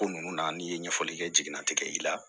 Ko nunnu na n'i ye ɲɛfɔli kɛ jigina tigɛ i la